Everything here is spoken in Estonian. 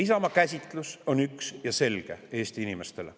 Isamaa käsitlus Eesti inimeste jaoks on üks ja selge.